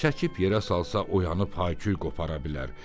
Çəkib yerə salsa oyanıb hayküy qopara bilər.